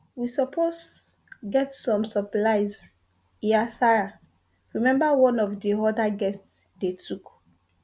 we suppose get some supplies hiasarah remember one of di oda guests dey tok